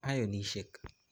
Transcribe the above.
Ionishek